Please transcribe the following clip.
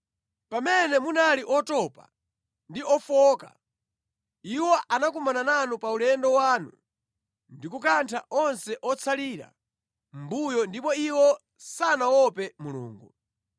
Pamene munali otopa ndi ofowoka, iwo anakumana nanu pa ulendo wanu ndi kukantha onse otsalira mʼmbuyo ndipo iwo sanaope Mulungu.